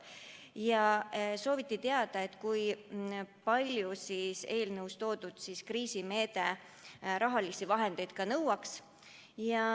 Ka sooviti teada, kui palju eelnõus toodud kriisimeede raha nõuaks.